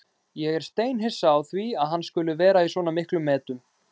Ég er steinhissa á því að hann skuli vera í svona miklum metum.